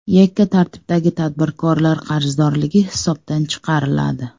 Yakka tartibdagi tadbirkorlar qarzdorligi hisobdan chiqariladi.